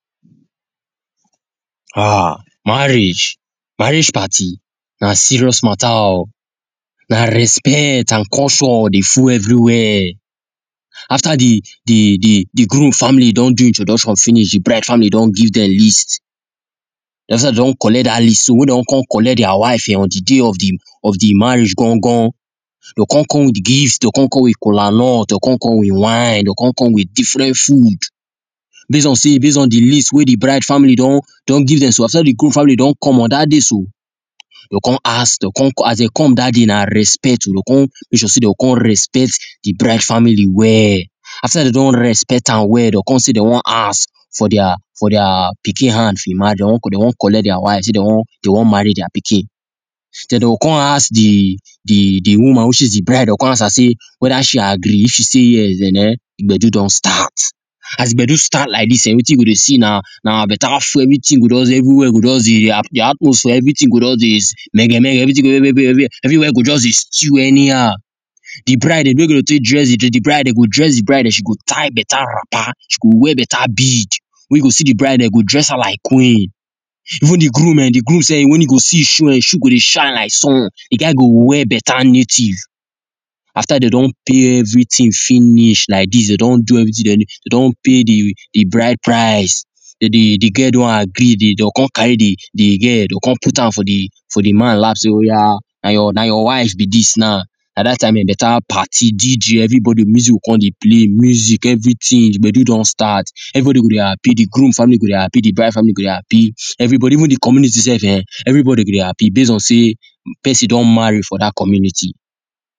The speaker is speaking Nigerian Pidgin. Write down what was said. um marriage marriage party nah serious matter oh nah respect and caution deh full everywhere after the the the groom family don do introduction finish the bride family don give dem list don collect that list so weh don come collect their wife on the day of of the marriage gan gan dey con come with gifts deh con come with kolanuts dey con come with wine deh con come with different food base on say base on the list wey the bride family don don give dem so after the groom family don come on dat day so deh con ask dey come as them come that day nah respect o them go come base on say them go come respect the bride family well after dem don respect am well them go come say dem want ask for their for their pikin hand in marriage dem want them want collect their wife say them want marry their pikin den dem go con ask the the woman which is the bride dem go come ask am say whether she agree if she say yes then eh the gbedu don start as the gbedu start like this ah wetin we go deh see nah nah better food everything go just deh everywhere go just deh the atmosphere everything go just deh mege mege everywhere go just deh stew anyhow the bride eh the way them go take dress the bride eh dem go dress the bride and she go tie better wrapper she go wear better bead the way you go see the bride them go dress her like queen even the groom eh the groom sef when you go see in shoe in shoe go deh shine like sun the guy go wear better native after dem don pay everything finish like this they don do everything they don dey don pay the bride price the the girl don agree dem go come carry the girl dem come put am for the for the man laps say oya nah your nah your wife be this now nah that time better party DJ everybody music go come deh play music everything the gbedu don start everybody go deh happy the groom family go deh happy the bride family go deh happy everybody even the community sef eh everybody go deh happy base on say person don marry for the community